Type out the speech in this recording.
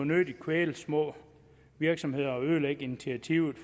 nødig kvæle de små virksomheder og ødelægge initiativet